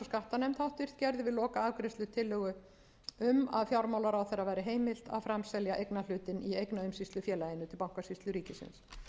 skattanefnd gerði við lokaafgreiðslu tillögu um að fjármálaráðherra væri heimilt að framselja eignarhlutinn í eignaumsýslufélaginu til bankasýslu ríkisins